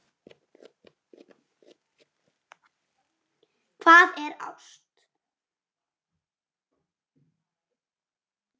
Hvað er ást